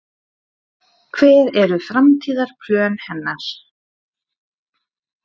Hver eru framtíðarplön hennar?